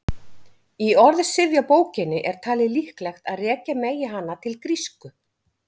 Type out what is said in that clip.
Í orðsifjabókinni er talið líklegt að rekja megi hana til grísku.